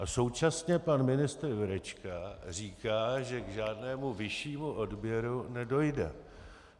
A současně pan ministr Jurečka říká, že k žádnému vyššímu odběru nedojde.